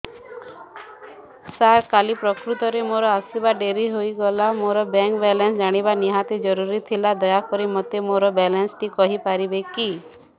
ସାର କାଲି ପ୍ରକୃତରେ ମୋର ଆସିବା ଡେରି ହେଇଗଲା ମୋର ବ୍ୟାଙ୍କ ବାଲାନ୍ସ ଜାଣିବା ନିହାତି ଜରୁରୀ ଥିଲା ଦୟାକରି ମୋତେ ମୋର ବାଲାନ୍ସ ଟି କହିପାରିବେକି